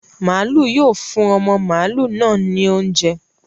Maalu yóò fún ọmọ màlúù náa ní oúnjẹ.